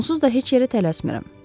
Onsuz da heç yerə tələsmirəm.